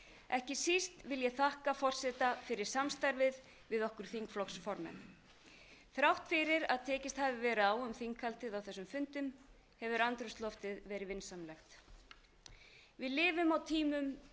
ekki síst vil ég þakka forseta fyrir samstarfið við okkur þingflokksformenn þrátt fyrir að tekist hafi verið á um þinghaldið á þessum fundum hefur andrúmsloftið verið vinsamlegt við lifum á tímum